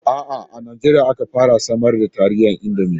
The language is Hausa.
A'a,a Najeriya aka fara samar da taliyar Indomi.